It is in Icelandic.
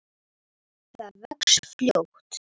Það vex fljótt.